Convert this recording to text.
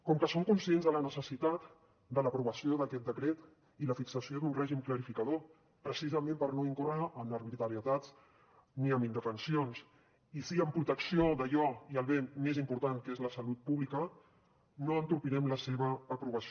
com que som conscients de la necessitat de l’aprovació d’aquest decret i la fixació d’un règim clarificador precisament per no incórrer en arbitrarietats ni en indefensions i sí en protecció d’allò i el bé més important que és la salut pública no entorpirem la seva aprovació